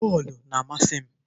Bọọlụ na-amasị m.